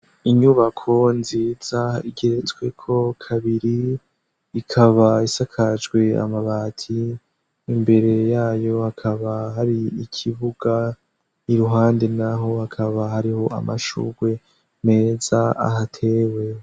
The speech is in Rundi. inyubako nziza igeretsweko kabiri ikaba isakajwe amabati imbere yayo hakaba hari ikibuga iruhande naho hakaba hariho amashugwe meza ahatewe